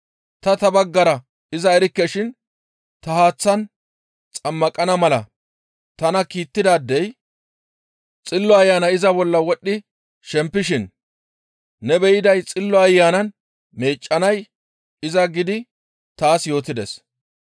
Ta ta baggara iza erikke shin ta haaththan xammaqana mala tana kiittidaadey, ‹Xillo Ayanay iza bolla wodhdhi shempishin ne beyanaadey Xillo Ayanan meeccanay iza› giidi taas yootides.